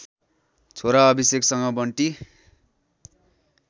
छोरा अभिषेकसँग बन्टी